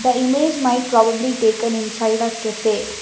the image might probably taken inside a cafe.